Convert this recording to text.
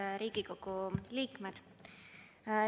Head Riigikogu liikmed!